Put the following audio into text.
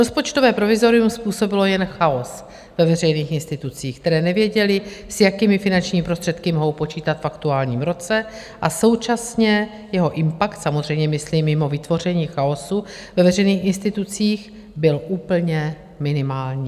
Rozpočtové provizorium způsobilo jen chaos ve veřejných institucích, které nevěděly, s jakými finančními prostředky mohou počítat v aktuálním roce, a současně jeho impakt, samozřejmě myslím mimo vytvoření chaosu ve veřejných institucích, byl úplně minimální.